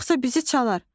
yoxsa bizi çalar.